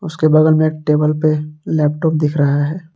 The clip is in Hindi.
उसके बगल में एक टेबल लेपटॉप दिख रहा है।